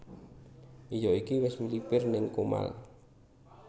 Iyo iki wis mlipir ning Comal